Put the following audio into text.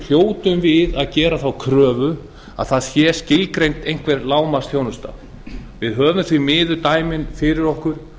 hljótum við að gera þá kröfu að það sé skilgreind einhver lágmarksþjónusta við höfum því miður dæmin fyrir okkur